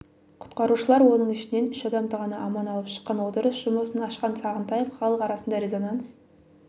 құтқарушылар оның ішінен үш адамды ғана аман алып шыққан отырыс жұмысын ашқан сағынтаев халық арасында резонанс